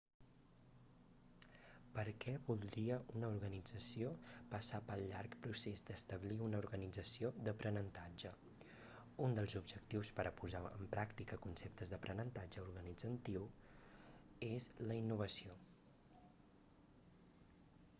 per què voldria una organització passar pel llarg procés d'establir una organització d'aprenentatge un dels objectius per a posar en pràctica conceptes d'aprenentatge organitzatiu és la innovació